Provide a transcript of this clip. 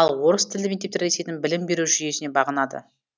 ал орыс тілді мектептер ресейдің білім беру жүйесіне бағынады